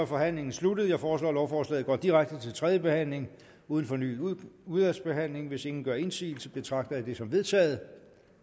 forhandlingen sluttet jeg foreslår at lovforslaget går direkte til tredje behandling uden fornyet udvalgsbehandling hvis ingen gør indsigelse betragter jeg det som vedtaget